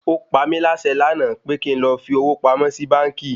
Ó pamí láṣẹ lànà pe kín lọ fi owó pamọ́ sì báńkì!